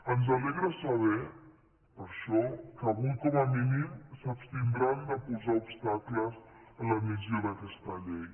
ens alegra saber per això que avui com a mínim s’abstindran de posar obstacles en l’admissió d’aquesta llei